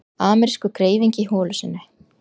Amerískur greifingi í holu sinni.